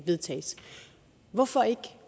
vedtages hvorfor ikke